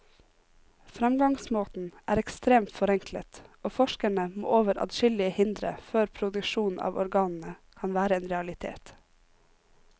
Fremgangsmåten er ekstremt forenklet, og forskerne må over adskillige hindre før produksjon av organene kan være en realitet.